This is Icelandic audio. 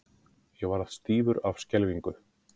Ég varð stífur af skelfingu.